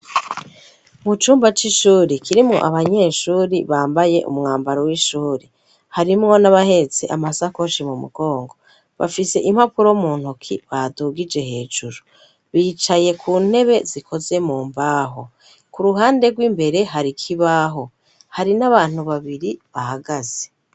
Mu cumba c'ishuri kirimwo abanyeshuri bambaye umwambaro w'ishuri harimwo n'abahetse amasakoshi mu mugongo bafise impapuro mu ntoki badugije hejuru bicaye ku ntebe zikoze mu mbaho ku ruhande rw'imbere hari ikibaho hari n'abantu babiri bahagaze.